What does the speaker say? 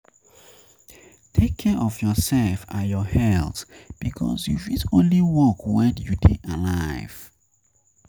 Take care of yourself and your and your health because you fit only work when you dey alive